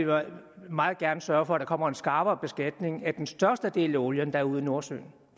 meget gerne sørge for at der kommer en skrappere beskatning af den største del af olien der er ude i nordsøen